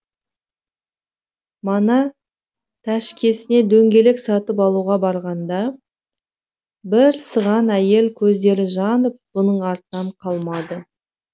мана тәшкесіне дөңгелек сатып алуға барғанда бір сыған әйел көздері жанып бұның артынан қалмады